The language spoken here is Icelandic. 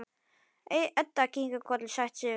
Edda kinkar kolli, sættir sig við skýringuna.